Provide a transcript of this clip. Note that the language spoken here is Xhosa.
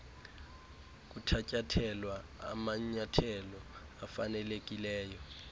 kuthatyathelwa amanyathelo afanelekileyo